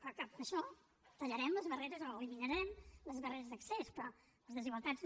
però que amb això tallarem les barreres o eliminarem les barreres d’accés però les desigualtats no